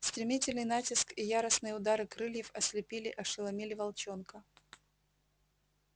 стремительный натиск и яростные удары крыльев ослепили ошеломили волчонка